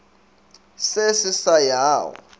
se se sa ya go